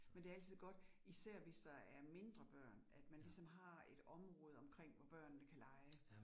Men det altid godt især hvis der er mindre børn, at man ligesom har et område omkring, hvor børnene kan lege